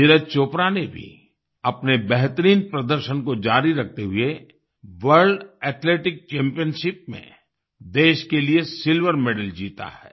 नीरज चोपरा ने भी अपने बेहतरीन प्रदर्शन को जारी रखते हुए वर्ल्ड एथलेटिक्स चैम्पियनशिप में देश के लिए सिल्वर मेडल जीता है